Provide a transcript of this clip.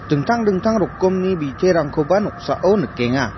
dingtang dingtang rokkomni biterangkoba noksao nikenga.